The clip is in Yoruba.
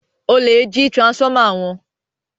olè jí transformer wón